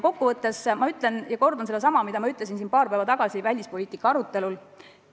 Kokkuvõtteks ma kordan sedasama, mida ma ütlesin siin paar päeva tagasi välispoliitika arutelul.